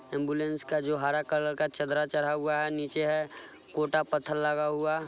ambulance का जो हरा कलर का चदरा चढ़ा हुआ है नीचे है कोटा पत्थर लगा हुआ --